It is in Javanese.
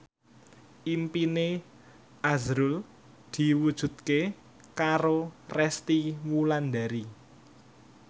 impine azrul diwujudke karo Resty Wulandari